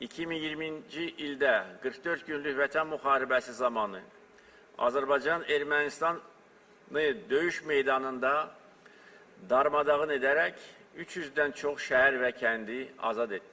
2020-ci ildə 44 günlük Vətən müharibəsi zamanı Azərbaycan Ermənistanı döyüş meydanında darmadağın edərək 300-dən çox şəhər və kəndi azad etdi.